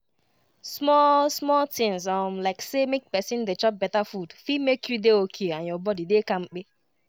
small-small tinz um like say make pesin dey chop beta food fit make you dey okay and your body dey kampe.